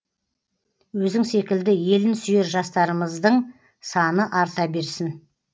өзің секілді елін сүйер жастарымыздың саны арта берсін